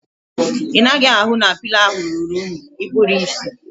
Ị naghị ahụ na pịlo ahu ruru unyi? Ikpuru ịsị?